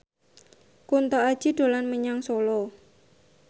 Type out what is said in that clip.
Kunto Aji dolan menyang Solo